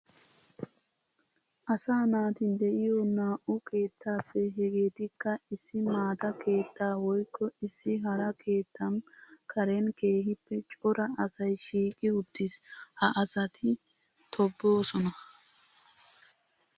Asaa naati de'iyo naa'u keettappe hegeetikka issi maata keetta woykko issi hara keettan karen keehippe cora asay shiiqi uttiis. Ha asatti tobbosonna.